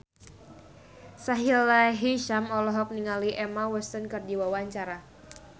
Sahila Hisyam olohok ningali Emma Watson keur diwawancara